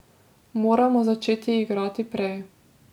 Moramo začeti igrati prej.